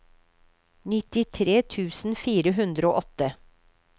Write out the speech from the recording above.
nittitre tusen fire hundre og åtte